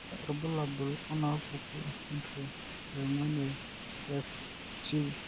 Kainyio irbulabul onaapuku esindirom e ong'uan e FG?